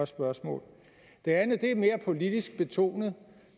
spørgsmål det andet er et mere politisk betonet